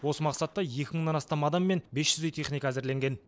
осы мақсатта екі мыңнан астам адам мен бес жүздей техника әзірленген